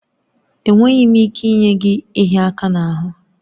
Enweghị m ike inye gị ịhịa aka n'ahụ